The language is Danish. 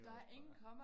Det også bare